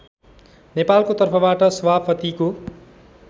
नेपालको तर्फबाट सभापतिको